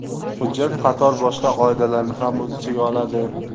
Hujjat qator boshqa qoidalarni ham o‘z ichiga oladi.